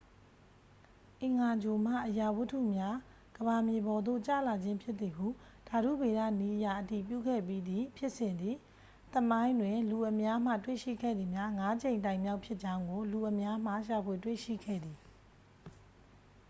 အင်္ဂါဂြိုလ်မှ အရာဝတ္တုများ ကမ္ဘာမြေပေါ်သို့ ကျလာခြင်းဖြစ်သည်ဟု ဓာတုဗေဒနည်းအရ အတည်ပြုခဲ့ပြီးသည့်ဖြစ်စဉ်သည် သမိုင်းတွင် လူအများမှ တွေ့ရှိခဲ့သည်မှာ ငါးကြိမ်တိုင်မြောက်ဖြစ်ကြောင်းကို လူအများမှ ရှာဖွေတွေ့ရှိခဲ့သည်